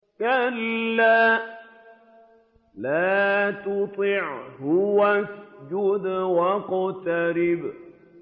كَلَّا لَا تُطِعْهُ وَاسْجُدْ وَاقْتَرِب ۩